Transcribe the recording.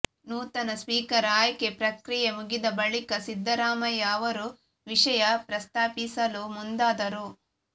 ನೂತನ ಸ್ಪೀಕರ್ ಆಯ್ಕೆ ಪ್ರಕ್ರಿಯೆ ಮುಗಿದ ಬಳಿಕ ಸಿದ್ದರಾಮಯ್ಯ ಅವರು ವಿಷಯ ಪ್ರಸ್ತಾಪಿಸಲು ಮುಂದಾದರು